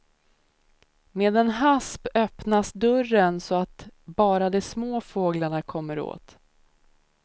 Med en hasp öppnas dörren så att bara de små fåglarna kommer åt.